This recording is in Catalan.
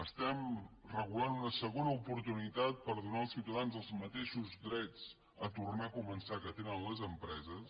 estem regulant una segona oportunitat per donar als ciutadans els mateixos drets a tornar a començar que tenen les empreses